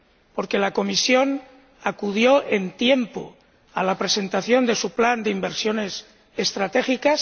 Porque la Comisión acudió a tiempo a la presentación de su plan de inversiones estratégicas